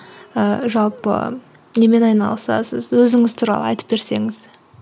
ііі жалпы немен айналысасыз өзіңіз туралы айтып берсеңіз